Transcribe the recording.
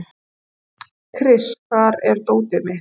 Kris, hvar er dótið mitt?